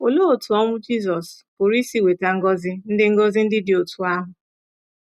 Olee otú ọnwụ Jizọs pụrụ isi weta ngọzi ndị ngọzi ndị dị otú ahụ?